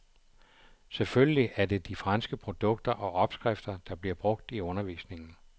Selvfølgelig er det de franske produkter og opskrifter, der bliver brugt i undervisningen.